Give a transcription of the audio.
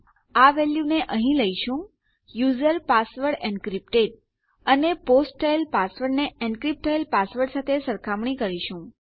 આ વેલ્યુને અહીં લઈશું યુઝર પાસવર્ડ એન્ક્રિપ્ટેડ અને પોસ્ટ થયેલ પાસવર્ડની એનક્રીપ્ટ થયેલ પાસવર્ડ સાથે સરખામણી કરીશું